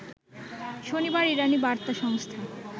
শনিবার ইরানি বার্তা সংস্থা